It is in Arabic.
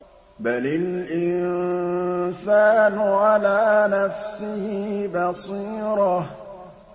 بَلِ الْإِنسَانُ عَلَىٰ نَفْسِهِ بَصِيرَةٌ